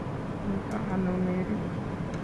Mito ano Mary?